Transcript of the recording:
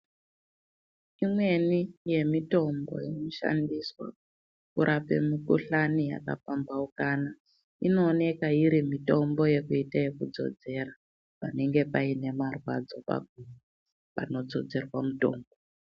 Imweni yemitombo inoshandiswa kurape mukhuhlani yakapambhaukana inooneka iri mitombo yekuita ekudzodzera, panenge pane marwadzo pakhona panodzodzerwa mutombo.